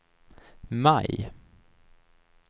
maj